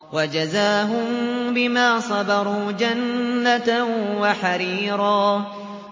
وَجَزَاهُم بِمَا صَبَرُوا جَنَّةً وَحَرِيرًا